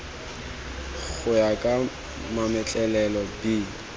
go ya ka mametlelelo b